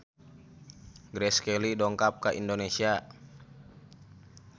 Grace Kelly dongkap ka Indonesia